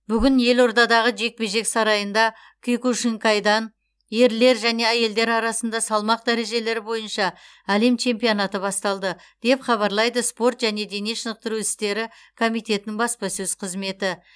бүгін елордадағы жекпе жек сарайында киокушинкайдан ерлер және әйелдер арасында салмақ дәрежелері бойынша әлем чемпионаты басталды деп хабарлайды спорт және дене шынықтыру істері комитетінің баспасөз қызметі